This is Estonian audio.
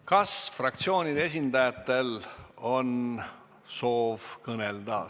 Kas fraktsiooni esindajatel on soovi kõnelda?